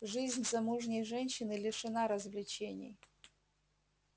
жизнь замужней женщины лишена развлечений